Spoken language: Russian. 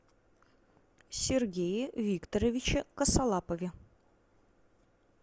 сергее викторовиче косолапове